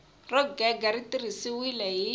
ro gega ri tirhisiwile hi